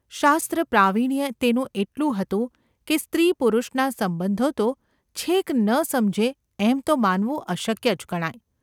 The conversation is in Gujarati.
શાસ્ત્રપ્રાવીણ્ય તેનું એટલું હતું કે સ્ત્રી-પુરુષના સંબંધો તો છેક ન સમજે એમ તો માનવું અશક્ય જ ગણાય.